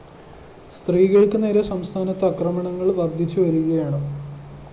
സ്ത്രീകള്‍ക്ക് നേരെ സംസ്ഥാനത്ത് അക്രമണങ്ങള്‍ വര്‍ദ്ധിച്ച് വരികയാണ്